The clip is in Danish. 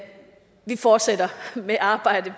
fortsætter med arbejdet